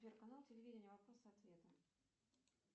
сбер канал телевидения вопросы и ответы